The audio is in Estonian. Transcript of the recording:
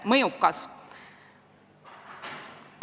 Ma ei hakka kõike seda kordama.